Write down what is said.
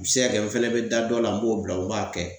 U be se ka kɛ n fɛnɛ be da dɔ la n b'o bila o m'a kɛ